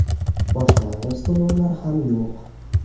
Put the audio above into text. Boshlang‘ich to‘lovlar ham yo‘q.